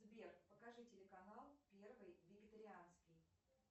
сбер покажи телеканал первый вегетарианский